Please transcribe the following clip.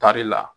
Tari la